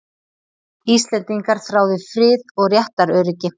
Íslendingar þráðu frið og réttaröryggi.